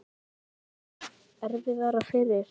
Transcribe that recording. En gerði það Kristjáni erfiðara fyrir?